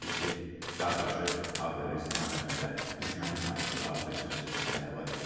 qardaşı Ağdərə istiqamətində düşmənin açdığı atəş nəticəsində həlak olub.